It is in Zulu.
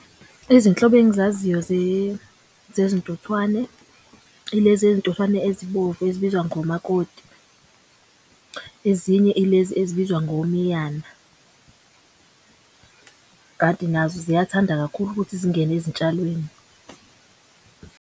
Izinhlobo engizaziyo zezintuthwane ilezi ntuthwane ezibomvu ezibizwa ngomakoti. Ezinye ilezi ezibizwa ngomiyana kanti nazo ziyathanda kakhulu ukuthi zingene ezitshalweni.